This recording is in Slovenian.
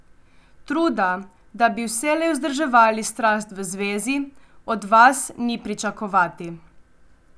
Truda, da bi vselej vzdrževali strast v zvezi, od vas ni pričakovati.